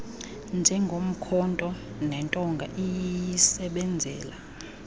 njengomkhonto nentonga iyisebenzela